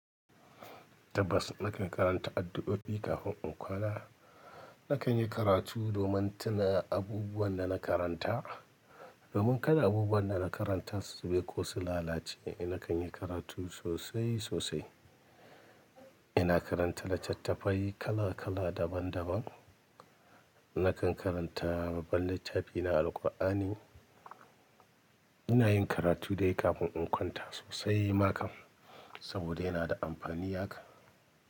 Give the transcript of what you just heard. Tabbas nakan karanta addu'o'i kafin in kwana. Nakan yi karatu domin tuna abubuwan da na karanta. Domin kada abubuwan da na karanta su zube ko su lalace, nakan yi karatu sosai sosai. Ina karanta da littattafai kala kala daban daban. Nakan karanta babban littafina Alqur'ani. Ina yin karatu dai kafin in kwanta sosai ma kam, saboda yana da amfani haka.